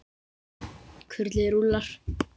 Kurlið rúllar.